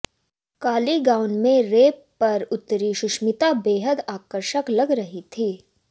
काली gown में ramp पर उतरीं सुष्मिता बेहद आकर्षक लग रही थीं